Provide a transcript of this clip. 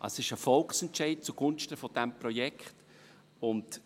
es ist ein Volksentscheid zugunsten dieses Projekts.